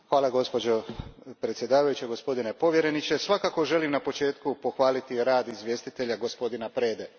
Gospođo predsjednice, gospodine povjereniče, svakako želim na početku pohvaliti rad izvjestitelja, gospodina Prede.